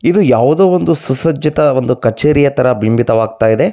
ಇದು ಯಾವುದೋ ಒಂದು ಸುಸರ್ಜಿತ ಒಂದು ಕಚೇರಿಯ ತರ ಬಿಂಬತವಾಗ್ತಾ ಇದೆ.